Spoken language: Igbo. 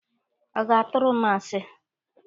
Ọ ga-atụrụ m asi?